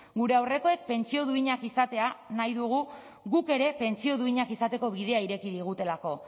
gure aurrekoek pentsio duinak izatea nahi dugu guk ere pentsio duinak izateko bidea ireki digutelako